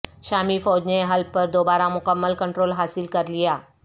شامی فوج نےحلب پر دوبارہ مکمل کنٹرول حاصل کر لیا